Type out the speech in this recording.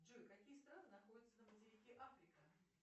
джой какие страны находятся на материке африка